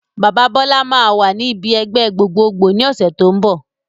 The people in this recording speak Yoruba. Bàbá Bọlá máa wà ní ibi ẹgbẹ́ gbogbogboo ni ọ̀sẹ̀ tó ń bọ̀